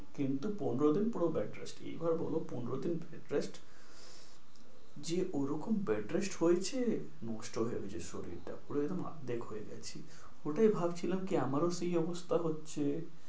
কিন্তু পনেরো দিন পুরো bed rest এইবার বলো পনেরো দিন bedrest যে ঐরকম bed rest হয়েছে নষ্ট হয়ে গেছে শরীর টা পুরো একদম আর্ধেক হয়ে গেছি। ওটাই ভাবছিলাম কি আমারও সেই অবস্থা হচ্ছে।